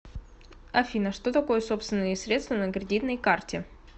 афина что такое собственные средства на кредитной карте